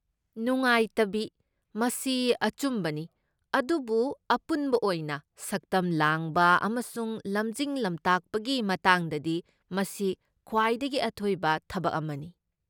ꯅꯨꯡꯉꯥꯏꯇꯕꯤ, ꯃꯁꯤ ꯑꯆꯨꯝꯕꯅꯤ, ꯑꯗꯨꯕꯨ ꯑꯄꯨꯟꯕ ꯑꯣꯏꯅ ꯁꯛꯇꯝ ꯂꯥꯡꯕ ꯑꯃꯁꯨꯡ ꯂꯝꯖꯤꯡ ꯂꯝꯇꯥꯛꯄꯒꯤ ꯃꯇꯥꯡꯗꯗꯤ, ꯃꯁꯤ ꯈ꯭ꯋꯥꯏꯗꯒꯤ ꯑꯊꯣꯏꯕ ꯊꯕꯛ ꯑꯃꯅꯤ꯫